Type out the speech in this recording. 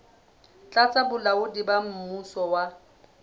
tlasa bolaodi ba mmuso wa